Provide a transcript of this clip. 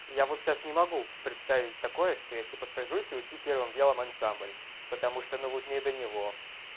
я вот сейчас не могу представить такое что я типа сажусь и учу первым делом ансамбль потому что ну вот не до него